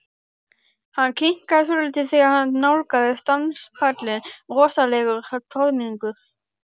Hann hikaði svolítið þegar hann nálgaðist danspallinn rosalegur troðningur.